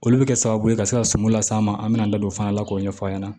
Olu bɛ kɛ sababu ye ka se ka suman las'an ma an bɛna an da don o fana la k'o ɲɛfɔ a ɲɛna